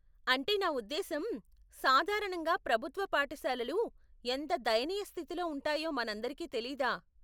అంటే నా ఉద్దేశ్యం, సాధారణంగా ప్రభుత్వ పాఠశాలలు ఎంత దయనీయ స్థితిలో ఉంటాయో మనందరికి తెలీదా?